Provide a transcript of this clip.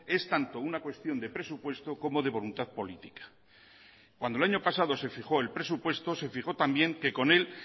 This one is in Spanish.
es tanto una cuestión de presupuesto como de voluntad política cuando el año pasado se fijó el presupuesto se fijó también que con él